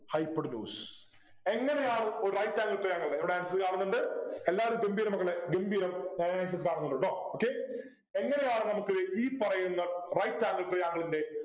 hypotenuse എങ്ങനെയാണ് ഒരു right angle triangle ഇവിടെ answer കാണുന്നുണ്ട് എല്ലാവരും ഗംഭീരം മക്കളെ ഗംഭീരം thank you കാണുന്നുണ്ട് ട്ടോ okay എങ്ങനെയാണു നമുക്ക് ഈ പറയുന്ന right angle triangle ൻ്റെ